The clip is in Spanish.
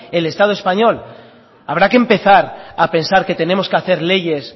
el estado español habrá que empezar a pensar que tenemos que hacer leyes